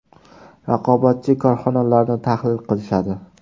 Raqobatchi korxonalarni tahlil qilishadi.